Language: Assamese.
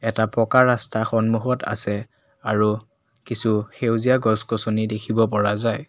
এটা পকা ৰাস্তা সন্মুখত আছে আৰু কিছু সেউজীয়া গছ গছনি দেখিব পৰা যায়।